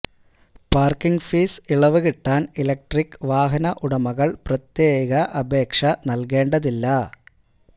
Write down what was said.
parking fees ഇളവ് കിട്ടാന് electric വാഹന ഉടമകള് പ്രത്യേക അപേക്ഷ നല്കേണ്ടതില്ല